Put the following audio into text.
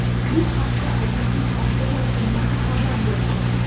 Bu haqda agentlik axborot xizmati xabar berdi .